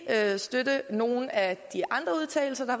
støtte nogen af de andre udtalelser der